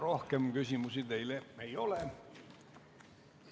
Rohkem küsimusi teile ei ole.